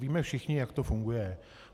Víme všichni, jak to funguje.